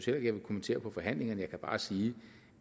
jeg vil kommentere forhandlingerne jeg kan bare sige